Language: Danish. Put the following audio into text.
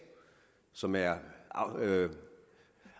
som er